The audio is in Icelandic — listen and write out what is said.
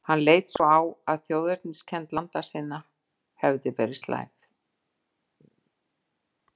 Hann leit svo á, að þjóðerniskennd landa sinna hefði verið slævð.